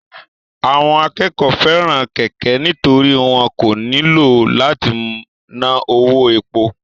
Àwọn akẹ́kọ̀ọ́ fẹ́ràn kẹ̀kẹ́ nítorí wọn kò nílò láti ná owó epo